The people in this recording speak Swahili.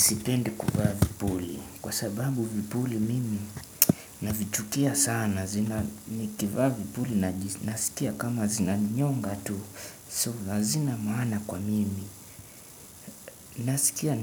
Sipendi kuvaa vipuli. Kwa sababu vipuli mimi navichukia sana. Zina nikivaa vipuli nasikia kama zinanyonga tu. So lazima maana kwa mimi. Nasikia